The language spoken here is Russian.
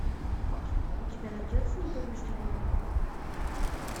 у тебя найдется непобежденный